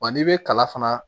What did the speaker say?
Wa n'i bɛ kala fana